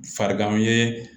Farigan ye